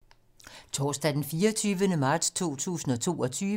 Torsdag d. 24. marts 2022